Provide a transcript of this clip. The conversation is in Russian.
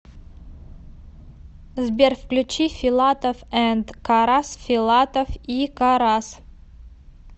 сбер включи филатов энд карас филатов и карас